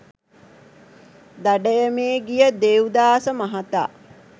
දඩයමේ ගිය දේව්දාස මහතා